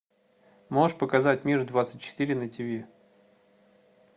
можешь показать мир двадцать четыре на ти ви